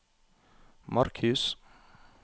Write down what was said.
Markhus